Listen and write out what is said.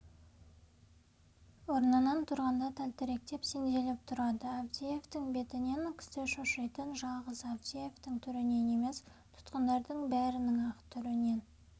орнынан тұрғанда тәлтіректеп сенделіп тұрады авдеевтің бетінен кісі шошитын жалғыз авдеевтің түрінен емес тұтқындардың бәрінің-ақ түрінен